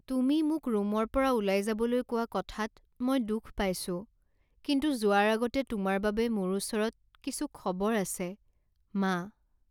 তুমি মোক ৰুমৰ পৰা ওলাই যাবলৈ কোৱা কথাত মই দুখ পাইছো কিন্তু যোৱাৰ আগতে তোমাৰ বাবে মোৰ ওচৰত কিছু খবৰ আছে। মা